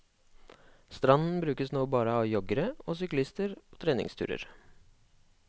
Stranden brukes nå bare av joggere og syklister på treningsturer.